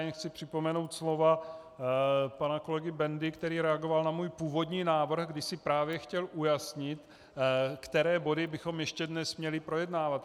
Jen chci připomenout slova pana kolegy Bendy, který reagoval na můj původní návrh, kdy si právě chtěl ujasnit, které body bychom ještě dnes měli projednávat.